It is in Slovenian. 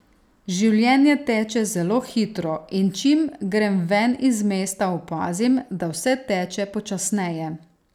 Življenje teče zelo hitro in čim grem ven iz mesta opazim, da vse teče počasneje.